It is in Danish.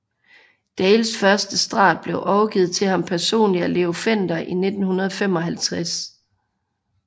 Dales første Strat blev overgivet til ham personligt af Leo Fender i 1955